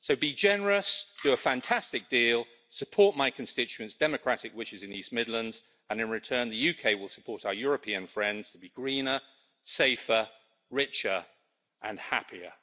So be generous, do a fantastic deal, support my constituents' democratic wishes in the East Midlands, and in return the UK will support our European friends to be greener, safer, richer and happier.